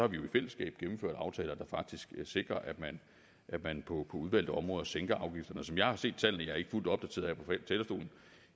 vi jo i fællesskab gennemført aftaler der faktisk sikrer at man at man på udvalgte områder sænker afgifterne som jeg har set tallene jeg er ikke fuldt opdateret